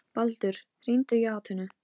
Ég vissi ekki að þú kynnir á gítar.